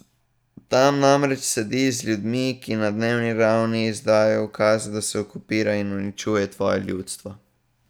Tam namreč sedi z ljudmi, ki na dnevni ravni izdajajo ukaze, da se okupira in uničuje tvoje ljudstvo.